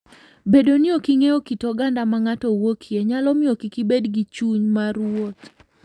Bedo ni ok ing'eyo kit oganda ma ng'ato wuokie, nyalo miyo kik ibed gi chuny mar wuoth.